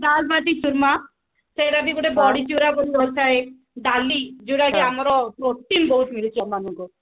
ଡାଲବାଟି ଚୁରମା ସେଟା ବି ଗୋଟେ ଡାଲି ଯୋଉଟା କି ଆମର protein ବହୁତ ମିଳୁଛି ଆମକୁ